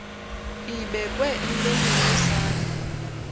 ibekwe emlonyeni wosana